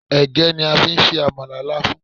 Ẹ̀gẹ́ ni a fi ń se àmàlà Láfún